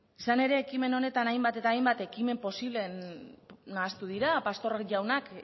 izan ere ekimen honetan hainbat eta hainbat ekimen posible nahastu dira pastor jaunak